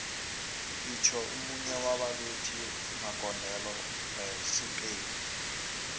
itjho munye waba bethi magondelo besi spain